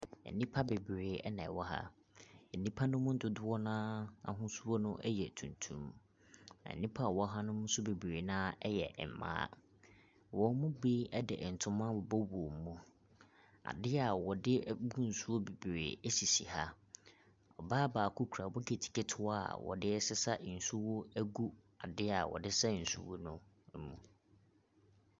Nnipa bebree ɛna ɛwɔ ha. Nnipa no mu dodoɔ no ara ahosuo no ɛyɛ tuntum. Nnipa a wɔn wɔ ha no bebree no ara nso yɛ mmaa. Wɔn mu bi de ntoma abobɔ wɔn mu. Adeɛ a wɔde bu nsuo bebree ɛsisi ha. Ɔbaa baako kura bokiti ketewa a wɔde resesa nsuo agu adeɛ a wɔde resa nsuo no mu.